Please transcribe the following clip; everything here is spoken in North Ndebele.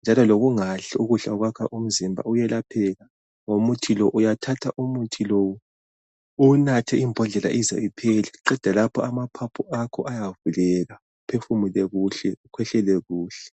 njalo lokungadli ukudla okwakha umzimba uyelapheka ngokuthi lowu. Uyathatha umuthi lo uwunathe imbodlela ize iphele uqeda lapho amaphaphu ayavuleka uphefumule kuhle ukhwehlele kuhle.